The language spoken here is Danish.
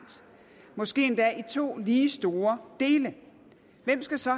måske endda i to lige store dele hvem skal så